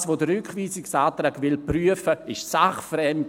Das, was der Rückweisungsantrag prüfen will, ist sachfremd.